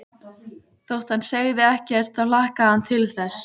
Þótt hann segði ekkert þá hlakkaði hann til þess.